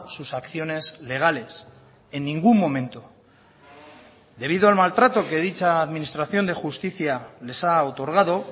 sus acciones legales en ningún momento debido al maltrato que dicha administración de justicia les ha otorgado